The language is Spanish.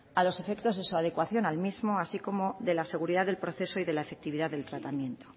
a los efectos de su adecuación al mismo así como de la seguridad del proceso y de la efectividad del tratamiento